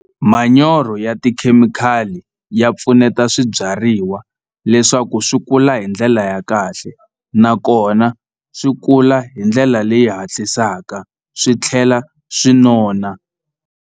Manyoro ya tikhemikhali ya pfuneta swibyariwa leswaku swi kula hi ndlela ya kahle nakona swi kula hi ndlela leyi hatlisaka swi tlhela swi nona.